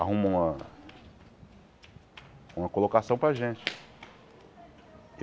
Arruma uma... uma colocação para a gente.